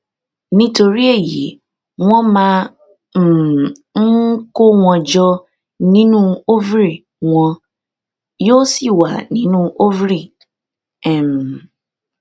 nítorí èyí wọn máa um ń kó wọn jọ nínú ovary wọn yóò sì wà nínú ovary um